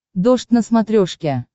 дождь на смотрешке